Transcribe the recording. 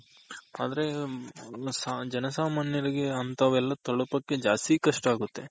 ಆದ್ರೆ ಜನ ಸಾಮಾನ್ಯರಿಗೆ ಅಂತವೆಲ್ಲ ತಲುಪಕ್ಕೆ ಜಾಸ್ತಿ ಕಷ್ಟ ಆಗುತ್ತೆ